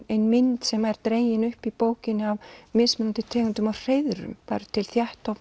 ein mynd sem er dregin upp í bókinni af mismunandi tegundum af hreiðrum það eru til